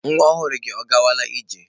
Nwa ọhụrụ gị ọ gawala ije?.